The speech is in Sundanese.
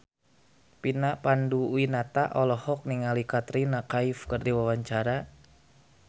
Vina Panduwinata olohok ningali Katrina Kaif keur diwawancara